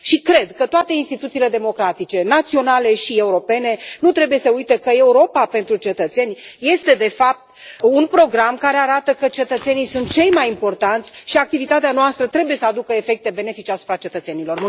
Și cred că toate instituțiile democratice, naționale și europene, nu trebuie să uite că Europa pentru cetățeni este de fapt un program care arată că cetățenii sunt cei mai importanți și activitatea noastră trebuie să aducă efecte benefice asupra cetățenilor.